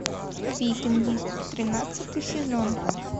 викинги тринадцатый сезон